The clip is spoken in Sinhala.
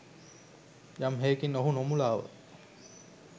යම් හෙයකින් ඔහු නොමුලාව